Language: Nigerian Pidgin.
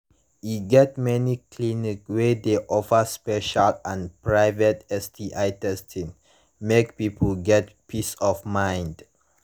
e get many clinics wey de offer special and private sti testing mk people get peace of mind